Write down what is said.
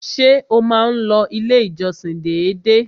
Ṣé o má n lọ ilé ìjọsìn dédé?